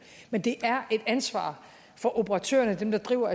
men det er et ansvar for operatørerne dem der driver